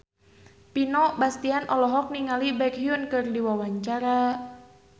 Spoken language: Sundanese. Vino Bastian olohok ningali Baekhyun keur diwawancara